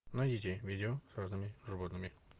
найдите видео с разными животными